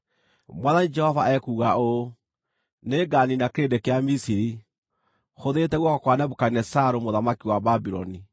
“ ‘Mwathani Jehova ekuuga ũũ: “ ‘Nĩnganiina kĩrĩndĩ kĩa Misiri, hũthĩrĩte guoko kwa Nebukadinezaru, mũthamaki wa Babuloni.